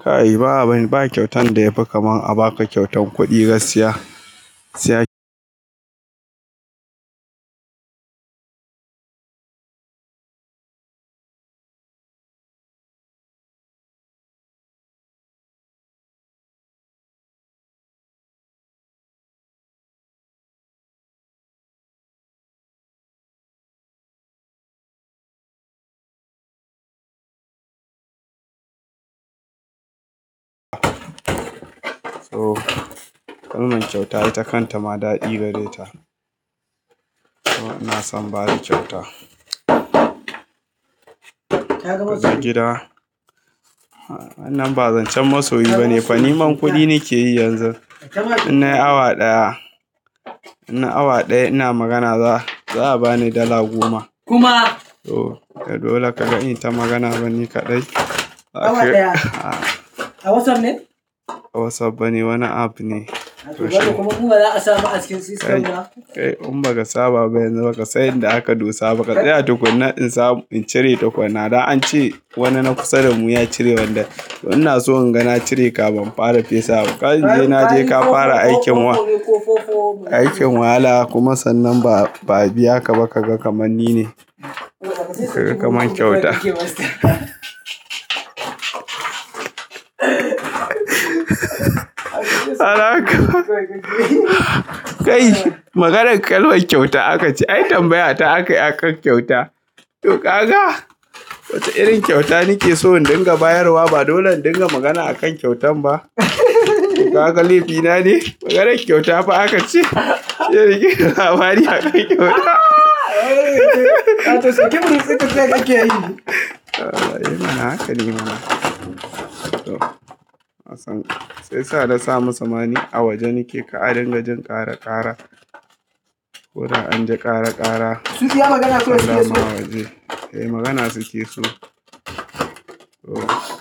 Kai ba abun, ba kyautan da yafi kaman a ba ka kyautan kuɗi gaskiya. Siya. To, kowane kyauta ita kanta ma daɗi gare ta. To, ina son bada kyauta. Wajen gida. Wannan ba zancen masoyi ba ne fa, neman kuɗi nake yi yanzu. In nayi awa ɗaya, in na awa ɗaya ina magana za'a bani dala goma. To, da dole ka gani inyita magana bane kaɗai. Ok? A WhatsApp ne? Ba WhatsApp bane wani app ne. Kuma in ba za a samu a cikin system ba. Eh in ba ka saba ba yanzu ba ka san inda aka dosa ba ka tsaya tukunna in samu in cire takunna. Da an ce wani na kusa da mu ya cire wanda ina so inga na cire kafin fara fesa ma. Ka je na je ka fara aikin nan, aikin wahala kuma sannan ba'a, ba biya ka ba ka ga kaman ni ne. Kaga kaman kyauta. Alaka. Kai, maganar ƙalmar kyauta aka ce. Ai tambaya ta aka yi akan kyauta. To kaka, wace irin kyauta nake so in dinga bayarwa ba dole in dinga magana akan kyautan ba. Kaga laifi na ne. Maganar kyauta fa aka ce. Abin labari aka kyauta. Ehmana haka ne ma. To, nasan shiyasa na samu samani a waje nake ka'a dinga jin ƙara ƙara. Koda anji ƙara ƙara. Su ke magana suke so. Eh magana suke so. Oh.